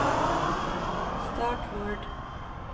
start Word